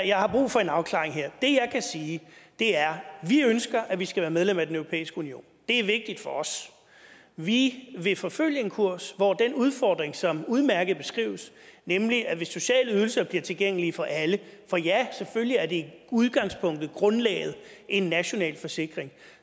jeg har brug for en afklaring her det jeg kan sige er at vi ønsker at vi skal være medlem af den europæiske union det er vigtigt for os vi vil forfølge en kurs hvor den udfordring som udmærket beskrives nemlig at hvis sociale ydelser bliver tilgængelige for alle for ja selvfølgelig er det i udgangspunktet grundlaget en national forsikring